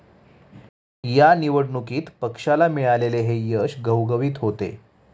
या निवडणुकीत पक्षाला मिळालेले हे यश घवघवीत होते.